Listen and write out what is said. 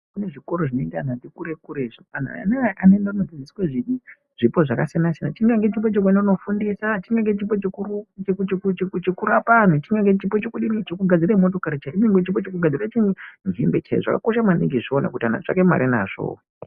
Kune zvikoro zvinoende antu ati kure-kure. Ana aya anoende kunofundiswa zvipo zvakasiyana-siyana. Chingange chipo chekuende kuofundisa. Chingange chipo chekurapa anhu. Chingange chipo chekudini, chekugadzire motikari. Chingange chipo chekugadzire zvimwe chaizvo. Zvakakosha maningi izvozvo kuti anhu atsvake mare nazvo.